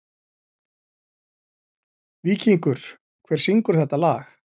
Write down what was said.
Víkingur, hver syngur þetta lag?